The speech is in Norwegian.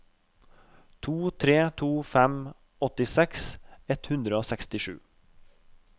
to tre to fem åttiseks ett hundre og sekstisju